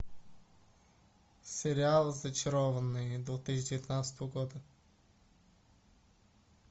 сериал зачарованные две тысячи девятнадцатого года